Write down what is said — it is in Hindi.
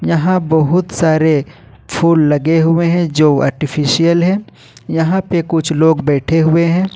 यहां बहुत सारे फूल लगे हुए हैं जो आर्टिफिशियल है यहां पे कुछ लोग बैठे हुए हैं।